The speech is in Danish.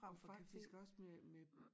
Faktisk også med med